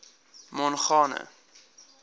mongane